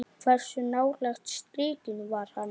Hversu nálægt strikinu var hann?